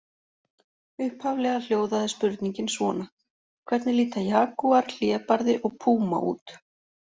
Upphaflega hljóðaði spurningin svona: Hvernig líta jagúar, hlébarði og púma út?